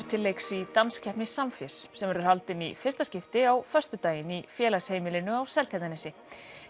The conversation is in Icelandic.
til leiks í danskeppni Samfés sem verður haldin í fyrsta skipti á föstudaginn í Félagsheimilinu á Seltjarnarnesi